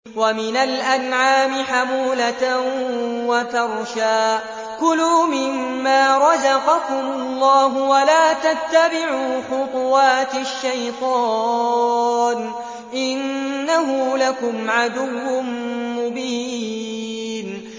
وَمِنَ الْأَنْعَامِ حَمُولَةً وَفَرْشًا ۚ كُلُوا مِمَّا رَزَقَكُمُ اللَّهُ وَلَا تَتَّبِعُوا خُطُوَاتِ الشَّيْطَانِ ۚ إِنَّهُ لَكُمْ عَدُوٌّ مُّبِينٌ